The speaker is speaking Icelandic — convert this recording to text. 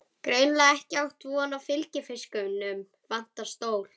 Greinilega ekki átt von á fylgifisknum, vantar stól.